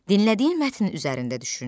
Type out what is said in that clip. Dinlədiyin mətn üzərində düşün.